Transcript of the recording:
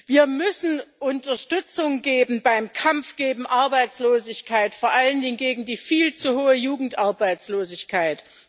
Wir müssen Unterstützung geben beim Kampf gegen Arbeitslosigkeit, vor allen Dingen gegen die viel zu hohe Jugendarbeitslosigkeit.